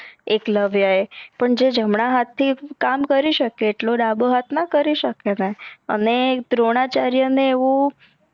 એકલવ્ય એ જે જમણા હાત થી કામ કરી સકે આટલો ડાભો હાત ના કરી સકે ને અને દ્રોણાચાર્ય એન એવુ